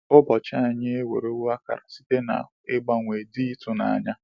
Ụbọchị anyị ewerewo akara site n’ mgbanwe dị ịtụnanya.